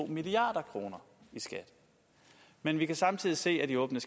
milliard kroner i skat men vi kan samtidig se af de åbne